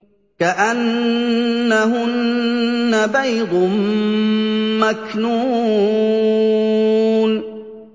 كَأَنَّهُنَّ بَيْضٌ مَّكْنُونٌ